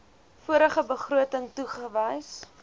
vorige begroting toegewys